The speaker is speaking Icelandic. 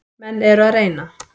Menn eru að reyna.